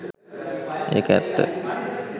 එක ඇත්ත